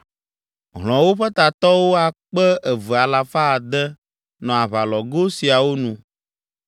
Hlɔ̃wo ƒe tatɔwo akpe eve alafa ade (2,600) nɔ aʋalɔglo siawo nu.